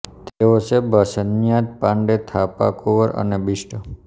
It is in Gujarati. તેઓ છે બસ્ન્યાત પાંડે થાપા કુંવર અને બિષ્ટ